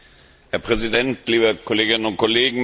Herr Präsident, liebe Kolleginnen und Kollegen!